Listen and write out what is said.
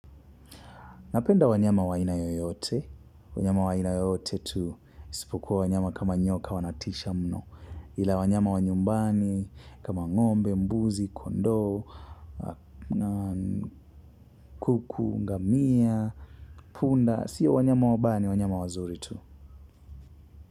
Napenda wanyama wa aina yoyote, wanyama wa aina yoyote tu, isipokuwa wanyama kama nyoka wanatisha mno, ila wanyama wa nyumbani, kama ng'ombe, mbuzi, kondoo, kuku, ngamia, punda, siyo wanyama wabaya ni wanyama wazuri tu.